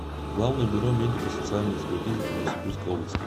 главное бюро медико социальной экспертизы по новосибирской области